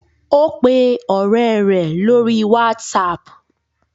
O pe ore re lori whatsapp